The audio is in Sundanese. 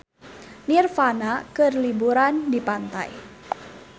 Nirvana keur liburan di pantai